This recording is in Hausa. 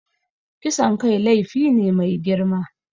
Kisan kai laifi ne mai girma.